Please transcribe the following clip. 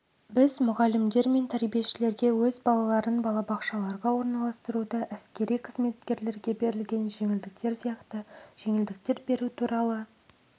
біз мұғалімдер мен тәрбиешілерге өз балаларын балабақшаларға орналастыруда әскери қызметкерлерге берілген жеңілдіктер сияқты жеңілдіктер беру туралы